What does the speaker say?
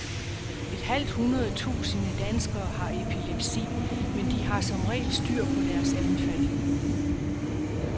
Et halvt hundrede tusinde danskere har epilepsi, men de har som regel styr på deres anfald.